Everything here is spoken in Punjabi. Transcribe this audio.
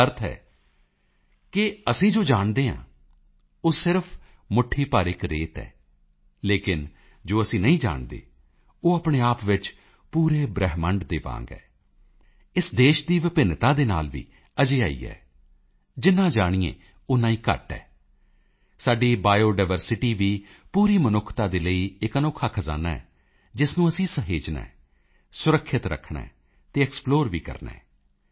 ਇਸ ਦਾ ਅਰਥ ਹੈ ਕਿ ਅਸੀਂ ਜੋ ਜਾਣਦੇ ਹਾਂ ਉਹ ਸਿਰਫ ਮੁੱਠੀ ਭਰ ਇਕ ਰੇਤ ਹੈ ਲੇਕਿਨ ਜੋ ਅਸੀਂ ਨਹੀਂ ਜਾਣਦੇ ਉਹ ਆਪਣੇ ਆਪ ਵਿੱਚ ਪੂਰੇ ਬ੍ਰਹਿਮੰਡ ਦੇ ਵਾਂਗ ਹੈ ਇਸ ਦੇਸ਼ ਦੀ ਵਿਭਿੰਨਤਾ ਦੇ ਨਾਲ ਵੀ ਅਜਿਹਾ ਹੀ ਹੈ ਜਿੰਨਾ ਜਾਣੀਏ ਓਨਾ ਹੀ ਘੱਟ ਹੈ ਸਾਡੀ ਬਾਇਓਡਾਇਵਰਸਿਟੀ ਵੀ ਪੂਰੀ ਮਨੁੱਖਤਾ ਦੇ ਲਈ ਇਕ ਅਨੋਖਾ ਖਜ਼ਾਨਾ ਹੈ ਜਿਸ ਨੂੰ ਅਸੀਂ ਸਹੇਜਨਾ ਹੈ ਸੁਰੱਖਿਅਤ ਰੱਖਣਾ ਹੈ ਅਤੇ ਐਕਸਪਲੋਰ ਵੀ ਕਰਨਾ ਹੈ